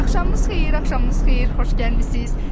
Axşamınız xeyir, axşamınız xeyir, xoş gəlmisiz!